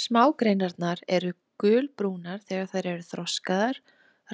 Smágreinarnar eru gulbrúnar þegar þær eru þroskaðar,